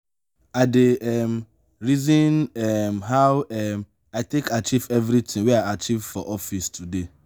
i dey um reason um how um i take achieve everytin wey i achieve for office today.